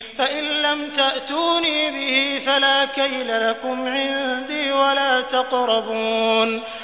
فَإِن لَّمْ تَأْتُونِي بِهِ فَلَا كَيْلَ لَكُمْ عِندِي وَلَا تَقْرَبُونِ